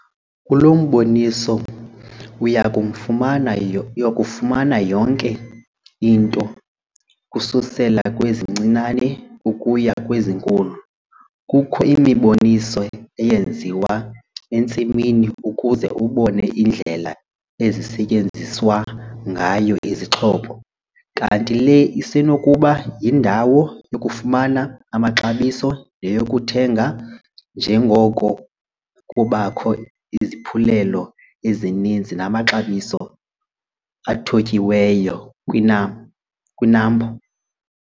Kulo mboniso uya kufumana yonke into ukususela kwezincinane ukuya kwezinkulu. Kukho imiboniso eyenziwa entsimini ukuze ubone indlela ezisetyenziswa ngayo izixhobo. Kanti le isenokuba yindawo yokufumana amaxabiso neyokuthenga njengoko kubakho iziphulelo ezininzi namaxabiso athotyiweyo kwiNAMPO.